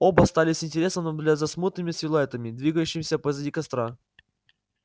оба стали с интересом наблюдать за смутными силуэтами двигающимися позади костра